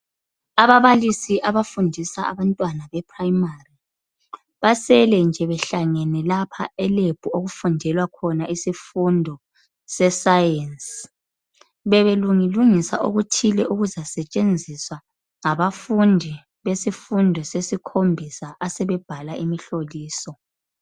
Ababalisi abafundisa abantwana bePrimary basele nje behlangene lapha eLab okufundelwa khona isifundo se Science. Bebelungilungisa okuthile okuzasetshenziswa ngabafundi besifundo sesikhombisa asebebhala imihloliso.